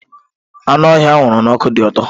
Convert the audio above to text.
Anụ ọhịa a huru n'ọkụ dị ụtọ.